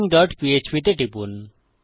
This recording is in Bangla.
missingপিএচপি তে টিপুন